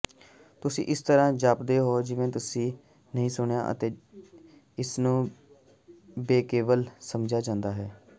ਤੁਸੀਂ ਇਸ ਤਰਾਂ ਜਾਪਦੇ ਹੋ ਜਿਵੇਂ ਤੁਸੀਂ ਨਹੀਂ ਸੁਣਿਆ ਅਤੇ ਇਸਨੂੰ ਬੇਵਕਲ ਸਮਝਿਆ ਜਾਂਦਾ ਹੈ